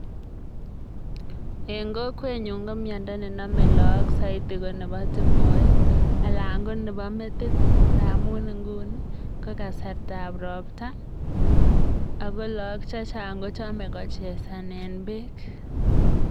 Eng kokwenyu ko miando ne namei lagok saiti ko nebo tung'oek ana ko nebo metit ngamun Nguni ko kasartab robta ako lagok chechang akochamei kochesanen bek